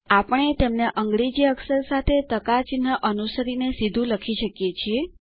આપણે તેમને અંગ્રેજી અક્ષર સાથે ટકા ચિહ્ન અનુસરી ને સીધું લખી શકીએ છીએ